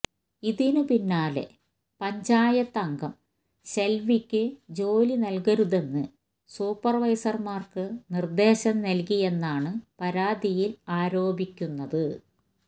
ഇതിന് പിന്നാലെ പഞ്ചായത്ത് അംഗം ശെൽവിയ്ക്ക് ജോലി നൽകരുതെന്ന് സൂപ്പർവൈസർമാർക്ക് നിർദ്ദേശം നൽകിയെന്നാണ് പരാതിയിൽ ആരോപിക്കുന്നത്